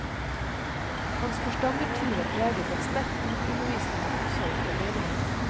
Hans forstandertid var preget av sterk bibelundervisning og omsorg for menigheten.